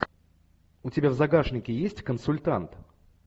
у тебя в загашнике есть консультант